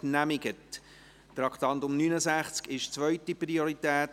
Das Traktandum 69 hat zweite Priorität.